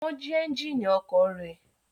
Wọ́n jí ẹ́ńjínì ọkọ̀ rẹ̀?